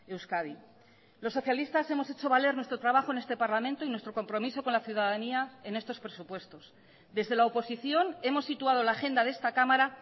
euskadi los socialistas hemos hecho valer nuestro trabajo en este parlamento y nuestro compromiso con la ciudadanía en estos presupuestos desde la oposición hemos situado la agenda de esta cámara